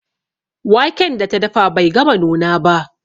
Waken da ta dafa bai gama nuna ba.